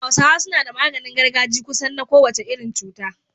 Hausawa suna da maganin gargaji kusan na kowace irin cuta.